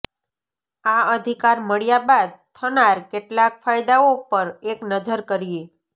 આ અધિકાર મળ્યા બાદ થનાર કેટલાક ફાયદાઓ પર એક નજર કરીએ